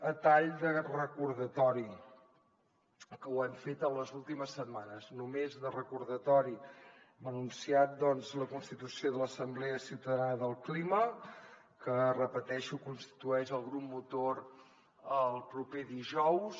a tall de recordatori ho hem fet en les últimes setmanes només de recordatori hem anunciat doncs la constitució de l’assemblea ciutadana del clima que ho repeteixo constitueix el grup motor el proper dijous